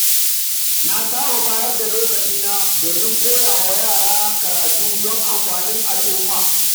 Na saba ba da lokacina domin koya wa yara karatu don amfanin al’umma.